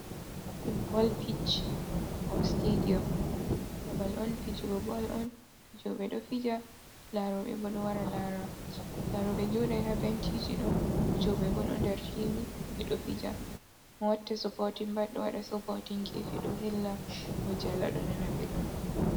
Fudbol pich ko stadio babal on fijugo bol on fijoɓe ɗo fija, laroɓe bo ɗo wara lara. Laroɓe jodai habenciji fijoɓe bo ɗo nder fili ɓe ɗo fija mo waɗata soppotin pat ɗo waɗa soppotin gefe ɗo hella ɗo jala ɗo nana belɗum.